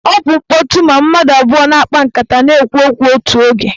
Ọ bụ mkpọtụ ma mmadụ abụọ na-akpa nkata na-ekwu okwu otu oge.